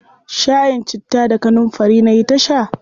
Shayin citta da kanunfari nayi ta sha.